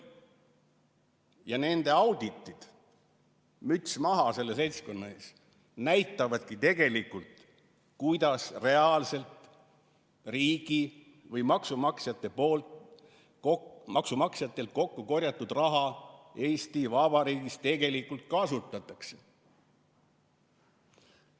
Ja nende auditid – müts maha selle seltskonna ees – näitavadki tegelikult, kuidas reaalselt maksumaksjatelt kokku korjatud raha Eesti Vabariigis tegelikult kasutatakse.